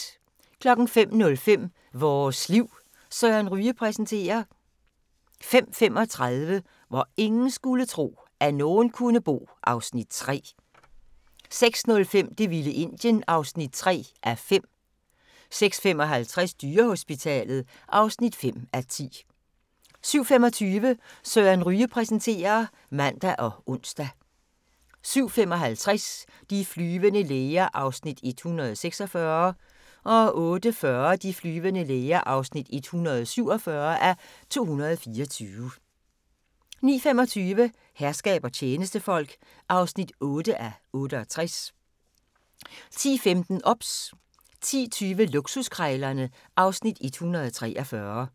05:05: Vores liv: Søren Ryge præsenterer 05:35: Hvor ingen skulle tro, at nogen kunne bo (Afs. 3) 06:05: Det vilde Indien (3:5) 06:55: Dyrehospitalet (5:10) 07:25: Søren Ryge præsenterer (man og ons) 07:55: De flyvende læger (146:224) 08:40: De flyvende læger (147:224) 09:25: Herskab og tjenestefolk (8:68) 10:15: OBS 10:20: Luksuskrejlerne (Afs. 143)